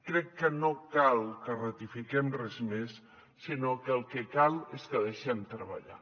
crec que no cal que ratifiquem res més sinó que el que cal és que deixem treballar